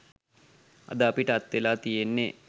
අද අපිට අත්වෙලා තියෙන්නෙ